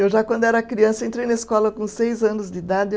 Eu já, quando era criança, entrei na escola com seis anos de idade.